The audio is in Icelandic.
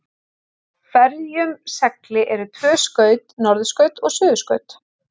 Á hverjum segli eru tvö skaut, norðurskaut og suðurskaut.